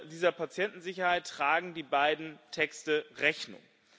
Dieser Patientensicherheit tragen die beiden Texte Rechnung.